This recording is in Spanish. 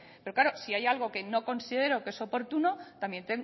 pero claro si hay algo que no considero que es oportuno también